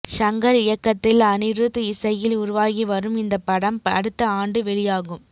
ஷங்கர் இயக்கத்தில் அனிருத் இசையில் உருவாகி வரும் இந்த படம் அடுத்த ஆண்டு வெளியாகும்